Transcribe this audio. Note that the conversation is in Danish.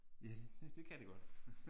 Ja det kan det godt